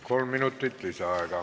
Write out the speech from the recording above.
Kolm minutit lisaaega.